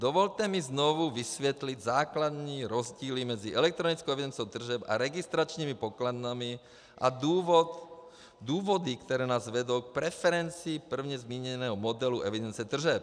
Dovolte mi znovu vysvětlit základní rozdíly mezi elektronickou evidencí tržeb a registračními pokladnami a důvody, které nás vedou k preferenci dříve zmíněného modelu evidence tržeb.